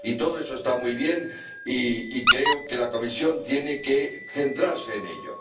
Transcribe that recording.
Y todo eso está muy bien, y creo que la Comisión tiene que centrarse en ello.